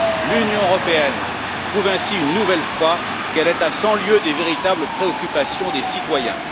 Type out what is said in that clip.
L'Union européenne prouve ainsi une nouvelle fois qu'elle est à cent lieues des véritables préoccupations des citoyens.